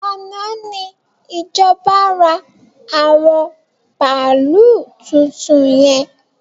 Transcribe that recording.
Àná ni ìjọba ra àwọn bàálú tuntun yẹn